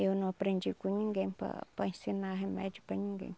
Eu não aprendi com ninguém para para ensinar remédio para ninguém.